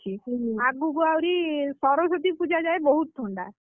ହୁଁ ଆଗକୁ ଆହୁରି ସରସ୍ଵତୀ ପୂଜା ଯାଏ ବହୁତ ଥଣ୍ଡା।